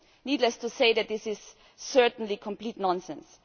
Needless to say, this is certainly complete nonsense.